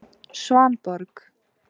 Svanborg